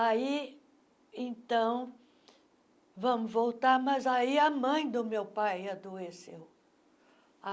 Aí, então, vamos voltar, mas aí a mãe do meu pai adoeceu.